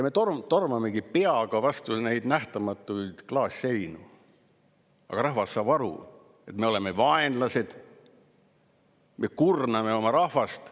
Me tormamegi peaga vastu neid nähtamatuid klaasseinu, aga rahvas saab aru, et me oleme vaenlased, me kurname oma rahvast.